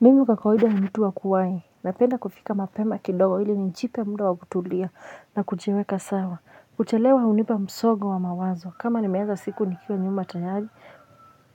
Mimi kwa kawaida ni mtu wa kuwahi napenda kufika mapema kidogo hili nijipe muda wa kutulia na kujiweka sawa kuchelewa hunipa msongo wa mawazo kama nimeanza siku nikiwa nyuma tayari